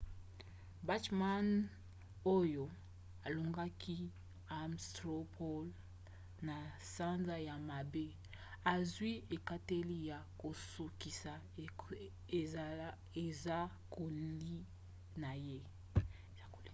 bachmann oyo alongaki ames straw poll na sanza ya mwambe azwi ekateli ya kosukisa esakoli na ye